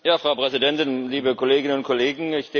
Frau Präsidentin, liebe Kolleginnen und Kollegen!